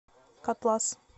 котлас